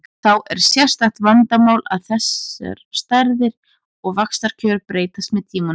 Þá er sérstakt vandamál að þessar stærðir og vaxtakjör breytast með tímanum.